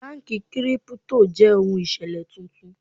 Báńkì Kírípútò jẹ́ ohun ìṣẹ̀lẹ̀ tuntun.